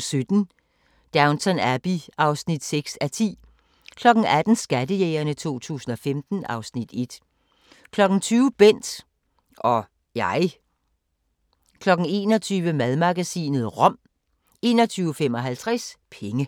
17:00: Downton Abbey (6:10) 18:00: Skattejægerne 2015 (Afs. 1) 20:00: Bent - og jeg 21:00: Madmagasinet – rom 21:55: Penge